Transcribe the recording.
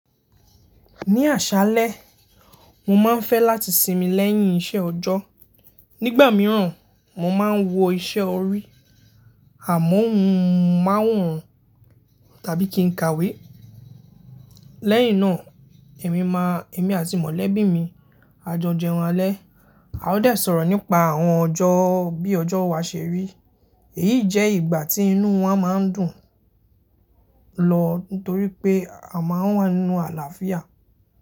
Ní àṣálẹ, mo máa ń fẹ́ láti sinmi lẹ́yìn iṣẹ́ ọjọ́. Nígbà mìíràn, mo máa ń wo iṣẹ́ orí àmọ́ mo máa ń hun tàbí kí n ka ìwé. Lẹ́yìn náà, èmi àti mọ̀lẹ́bí mi a jọ jẹun alẹ́, a óò dẹ̀ sọ̀rọ̀ nípa àwọn ọjọ́ bí ọjọ́ wa ṣe rí. Èyí jẹ́ ìgbà tí inú wa máa ń dùn lọ nítorí pé a máa ń wà nínú àlàáfíà.